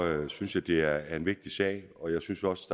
jeg synes det er en vigtig sag og jeg synes også